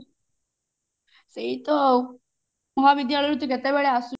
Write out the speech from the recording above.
ସେଇ ତ ଆଉ ମହାବିଦ୍ୟାଳୟରୁ ତୁ କେତେବେଳେ ଆସୁ